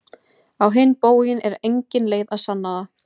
Á hinn bóginn er engin leið að sanna það.